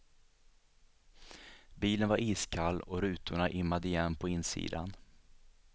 Bilen var iskall och rutorna immade igen på insidan.